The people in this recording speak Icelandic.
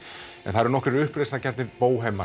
en það eru nokkrir uppreisnargjarnir